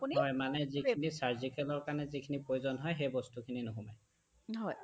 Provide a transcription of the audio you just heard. হয়, মানে যিখিনি surgicalৰ কাৰণে যিখিনি প্ৰয়োজন হয় সেইবস্তুখিনি নোসোমাই